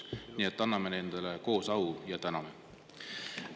Nii et anname nendele koos au ja täname!